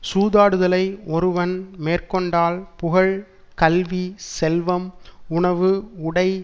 சூதாடுதலை ஒருவன் மேற்கொண்டால் புகழ் கல்வி செல்வம் உணவு உடை